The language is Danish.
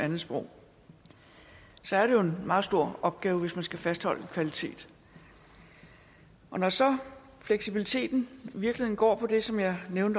andetsprog så er det jo en meget stor opgave hvis der skal fastholdes en kvalitet og når så fleksibiliteten i virkeligheden går på det som jeg